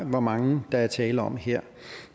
hvor mange der er tale om her